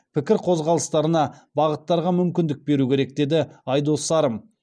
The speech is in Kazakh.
пікір қозғалыстарына бағыттарға мүмкіндік беру керек деді айдос сарым